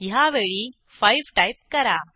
ह्यावेळी 5 टाईप करा